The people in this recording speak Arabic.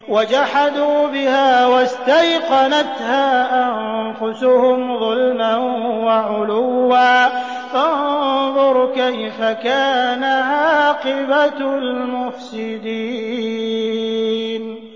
وَجَحَدُوا بِهَا وَاسْتَيْقَنَتْهَا أَنفُسُهُمْ ظُلْمًا وَعُلُوًّا ۚ فَانظُرْ كَيْفَ كَانَ عَاقِبَةُ الْمُفْسِدِينَ